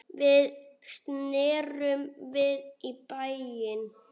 Við snerum við í bæinn.